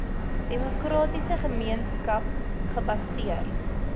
demokratiese gemeenskap gebaseer